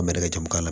Bari ka jamu k'a la